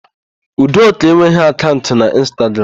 Udoka enweghị akaụnt n'Ịnstagram.